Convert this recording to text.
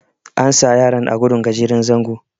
an sa yaran a gudun gajeren zango